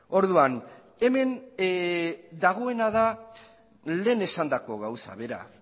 orduan hemen dagoena da lehen esandako gauza bera